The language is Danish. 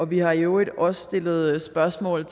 vi har i øvrigt også stillet spørgsmål